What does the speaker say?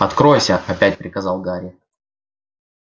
откройся опять приказал гарри